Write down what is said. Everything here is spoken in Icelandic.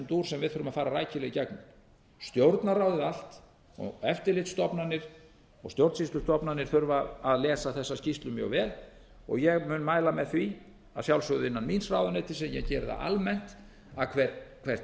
dúr sem við þurfum að fara rækilega í gegnum stjórnarráðið allt og eftirlitsstofnanir og stjórnsýslustofnanir þurfa að lesa þessa skýrslu mjög vel ég mun mæla með því að sjálfsögðu innan míns ráðuneyti sem ég geri það almennt að hvert